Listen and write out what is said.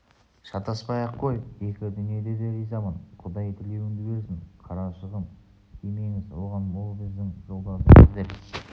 шатаспай-ақ қой екі дүниеде де ризамын құдай тілеуіңді берсін қарашығым тимеңіз оған ол біздің жолдасымыз деп